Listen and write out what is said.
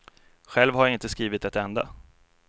Själv har jag inte skrivit ett enda.